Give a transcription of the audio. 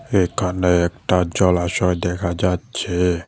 এখানে একটা জলাশয় দেখা যাচ্ছে।